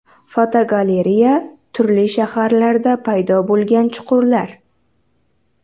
Fotogalereya: Turli shaharlarda paydo bo‘lgan chuqurlar.